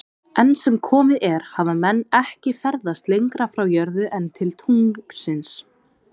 Enn sem komið er hafa menn ekki ferðast lengra frá jörðu en til tunglsins.